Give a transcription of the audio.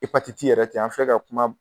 yɛrɛ tɛ an filɛ ka kuma